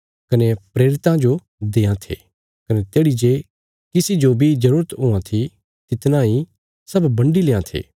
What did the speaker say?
कने प्रेरितां जो देआं थे कने तेढ़ी जे किसी जो बी जरूरत हुआं थी तितना इ सब बन्डी लेआं थे